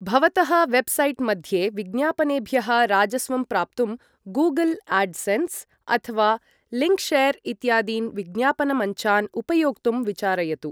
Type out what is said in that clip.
भवतः वेब्सैट् मध्ये विज्ञापनेभ्यः राजस्वं प्राप्तुं, गूगल् आड्सेन्स् अथवा लिङ्क्शेर् इत्यादीन् विज्ञापनमञ्चान् उपयोक्तुं विचारयतु।